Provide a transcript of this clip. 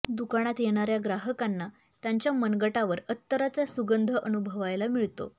दुकानात येणाऱ्या ग्राहकांना त्यांच्या मनगटावर अत्तराचा सुगंध अनुभवायला मिळतो